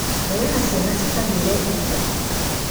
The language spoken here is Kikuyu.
Nĩwera ciana cikagĩre iria?